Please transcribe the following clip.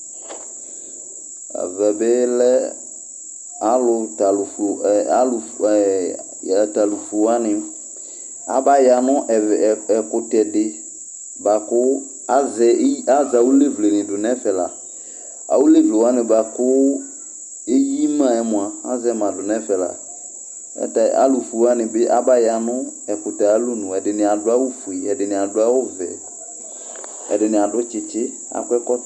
Ɛvɛ bɩ lɛ alʋ tɛ alʋfu ɛ alʋ ata alʋ fue wanɩ abaya nʋ ɛvɛ ɛkʋtɛ dɩ bʋa kʋ azɛ iy azɛ awʋlevle dɩ dʋ nʋ ɛfɛ la Awʋlevle wanɩ bʋa kʋ eyi ma yɛ mʋa, azɛ ma dʋ nʋ ɛfɛ la Ayɛlʋtɛ alʋfue wanɩ bɩ abaya nʋ ɛkʋtɛ yɛ ayʋ alɔnu Ɛdɩnɩ adʋ awʋfue, ɛdɩnɩ adʋ awʋvɛ, ɛdɩnɩ adʋ tsɩtsɩ, akɔ ɛkɔtɔ